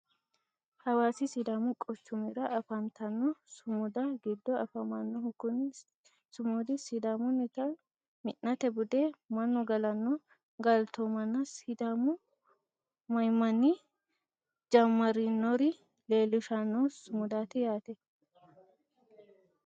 hawaasa sidaamu quchumira afantanno sumudda giddo afamannohu kuni sumudi sidaamunnita mi'nate bude mannu galanno galtoomanna sidaamu mamminni jammarinoro leelishanno sumudaati yaate.